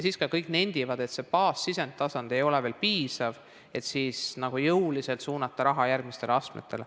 Siis ka kõik nendivad, et see baassisendi tasand ei ole veel piisav, et saaks jõuliselt suunata raha järgmistele astmetele.